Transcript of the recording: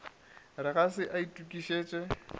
re ga se a itokišetša